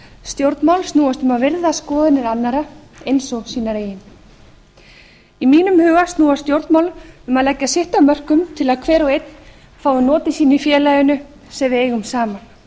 stjórnmál snúast um að virða skoðanir annarra eins og sínar eigin í mínum huga snúast stjórnmál um að leggja sitt af mörkum til að hver og einn fái notið sín í félaginu sem við eigum saman